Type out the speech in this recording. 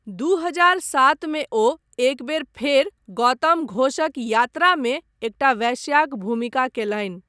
दू हजार सात मे ओ एक बेर फेर गौतम घोषक 'यात्रा' मे एकटा वेश्याक भूमिका कयलनि ।